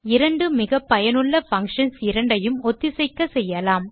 இரண்டு மிகப்பயனுள்ள பங்ஷன்ஸ் இரண்டையும் ஒத்திசைக்கச்செய்யலாம்